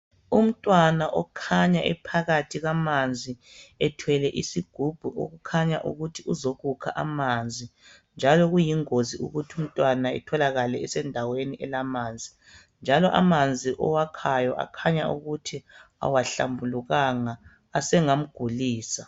Umntwana okhanya ephakathi kwamanzi ethwele isigubhu, okukhanya ukuthi uzokukha amanzi njalo kuyingozi ukuthi umntwana etholakale esendaweni elamanzi. Njalo amanzi owakhaya akhanya ukuthi awahlambulukanga, asengamgulisa.